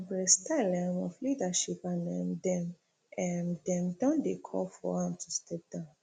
abure style um of leadership and um dem um dem don dey call for am to step down